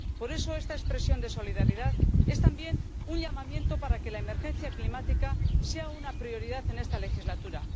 Por eso esta expresión de solidaridad es también un llamamiento para que la emergencia climática sea una prioridad en esta legislatura.